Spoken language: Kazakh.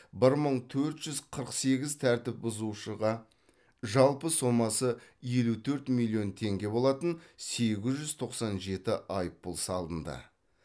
мың төрт жүз қырық сегіз тәртіп бұзушыға жалпы сомасы елу төрт миллион теңге болатын сегіз жүз тоқсан жеті айыппұл салынды